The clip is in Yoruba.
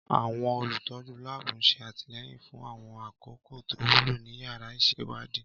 Àwọn olùtọ́jú láàbù ń ṣe àtìlẹ́yìn fún àwọn àkókò tó wúlò ní yàrá ìṣèwádìí